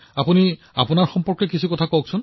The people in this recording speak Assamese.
পুনমজী দেশক নিজৰ বিষয়ে কওক